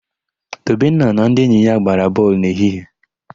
Tobenna na ndị enyi ya gbara bọọlụ n'ehihie.